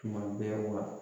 Tuma bɛɛ wa